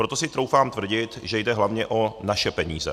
Proto si troufám tvrdit, že jde hlavně o naše peníze.